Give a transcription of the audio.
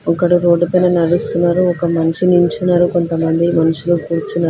ఒకడు రోడ్డు పైన నడుస్తున్నారు ఒక మనిషి నించున్నారు కొంతమంది మనుషులు కూర్చున్నా--